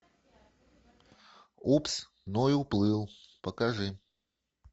упс ной уплыл покажи